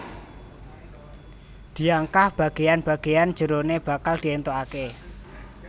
Diangkah bagéan bagéan jeroné bakal diéntukaké